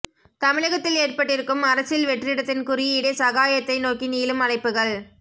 தமிழகத்தில் ஏற்பட்டிருக்கும் அரசியல் வெற்றிடத்தின் குறியீடே சகாயத்தை நோக்கி நீளும் அழைப்புகள்